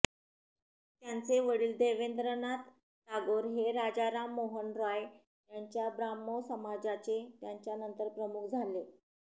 त्यांचे वडील देवेंद्रनाथ टागोर हे राजा राम मोहन रॉय यांच्या ब्राह्मो समाजाचे याच्यानंतर प्रमुख झाले